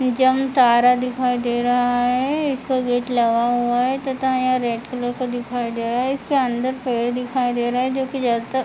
जामतरा दिखाई दे रहा हैइसका गेट लगा हुआ है तथा यहां रेड कलर का दिखाई दे रहा हैइसके अंदर पेड़ दिखाई दे रहे हैजोकि ज्यादा--